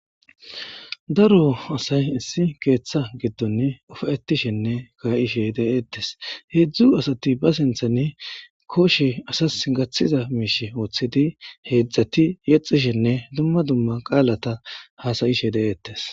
Daro asay issi keththa gidon ufaytishene kaishe de'etes hedzdzu asati hesintane koshe asasi gatiza misha wotidib hedzdzati yetishen dumma dumma qala has'ishe de'etes.